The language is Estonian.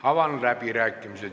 Avan läbirääkimised.